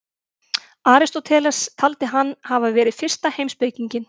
Aristóteles taldi hann hafa verið fyrsta heimspekinginn.